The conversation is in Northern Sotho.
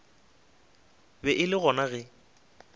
be e le gona ge